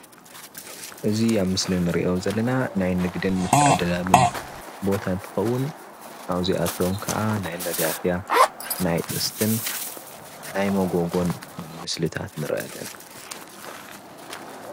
እዚ አብ ምስሊ ንሪኦ ዘና ናይ ንግድን ምትዕድዳግን ቦታ እንትኸውን፣ ከም መጋፍያ፣ ጥስቲ ናይ መጎጎን ምስሊታት ንርኢ አለና።